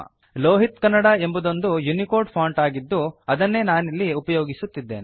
ಲೋಹಿತ್ ಕನ್ನಡ ಎಂಬುದೊಂದು Unicode font ಆಗಿದ್ದು ಅದನ್ನೇ ನಾನಿಲ್ಲಿ ಉಪಯೋಗಿಸುತ್ತಿದ್ದೇನೆ